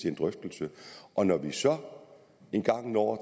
en drøftelse og når vi så engang når